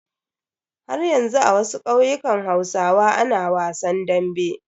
Haryanzu a wasu ƙauyukan hausawa ana wasan dambe.